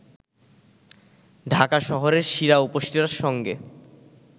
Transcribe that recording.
ঢাকা শহরের শিরা-উপশিরার সঙ্গে